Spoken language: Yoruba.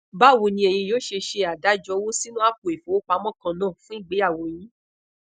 bawo ni eyin yoo se se adajo owo sinu apo ifowopamo kaana fun igbeyawo yin